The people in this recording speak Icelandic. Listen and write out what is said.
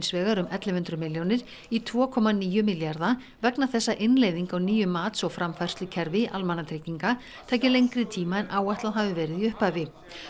vegar um ellefu hundruð milljónir í tveimur komma níu milljarða vegna þess að innleiðing á nýju mats og framfærslukerfi almannatrygginga taki lengri tíma en áætlað hafi verið í upphafi